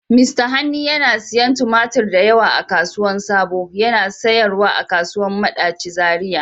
Mista Hanni yana siyan tumatur da yawa a kasuwan sabo, yana sayarwa a kasuwan Madachi Zariya.